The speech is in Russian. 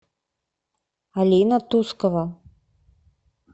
алина тускова